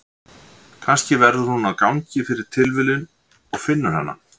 Kannski verður hún þar á gangi fyrir tilviljun og finnur hana.